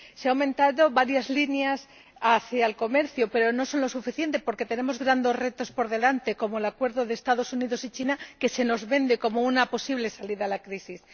Se han aumentado varias líneas relacionadas con el comercio, pero no lo suficiente, porque tenemos grandes retos por delante, como el acuerdo de los Estados Unidos y China, que se nos vende como una posible salida de la crisis.